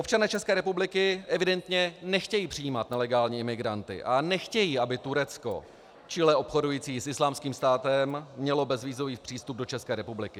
Občané České republiky evidentně nechtějí přijímat nelegální imigranty a nechtějí, aby Turecko, čile obchodující s Islámským státem, mělo bezvízový přístup do České republiky.